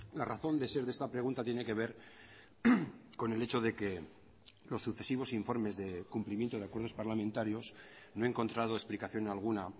la razón de ser de esta pregunta tiene que ver con el hecho de que los sucesivos informes de cumplimiento de acuerdos parlamentarios no he encontrado explicación alguna a